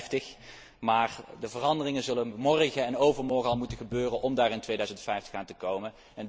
2050. Maar de veranderingen zullen morgen en overmorgen al moeten gebeuren om dat in 2050 te bereiken.